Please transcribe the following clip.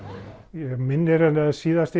mig minnir að síðast